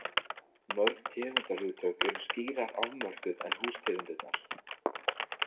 Mörg tegundarhugtök eru skýrar afmörkuð en hústegundirnar.